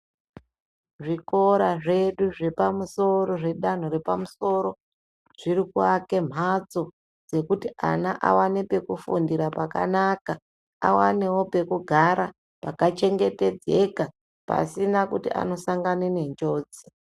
Zvikora zvedu zvepamusoro zvedanho repamusoro zviri kuake mbatso dzekuti ana awane pekufundira pakanaka awanewo pekugara pakachengetedzeka pasina kuti anosangana nenjodzi.